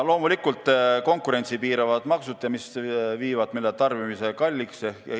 Edasi: konkurentsi piiravad maksud, mis muudavad meil tarbimise kalliks.